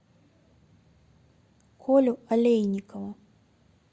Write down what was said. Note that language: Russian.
колю олейникова